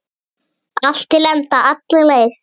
Allt til enda, alla leið.